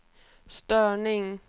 störning